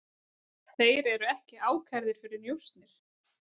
Þeir eru ekki ákærðir fyrir njósnir